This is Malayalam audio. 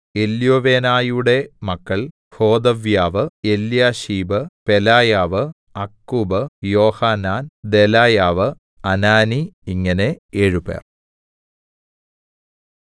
എല്യോവേനായിയുടെ മക്കൾ ഹോദവ്യാവ് എല്യാശീബ് പെലായാവ് അക്കൂബ് യോഹാനാൻ ദെലായാവ് അനാനി ഇങ്ങനെ ഏഴുപേർ